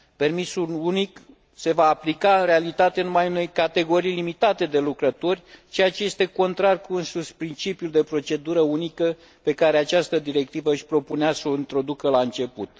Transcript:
Permisul unic se va aplica în realitate numai unei categorii limitate de lucrători, ceea ce este contrar cu însuși principiul de procedură unică pe care această directivă își propunea să o introducă la început.